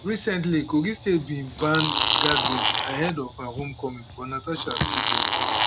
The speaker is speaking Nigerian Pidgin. recently kogi state goment bin ban gatherings ahead of her home coming but natasha still do am